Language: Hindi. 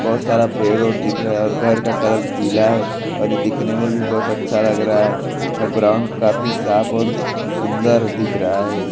बहुत सारा पेड़-उड़ दिख रहा है और घर का कलर पीला है और ये दिखने में भी बहुत अच्छा लग रहा है और ग्राउंड काफी साफ और स-सुंदर दिख रहा है।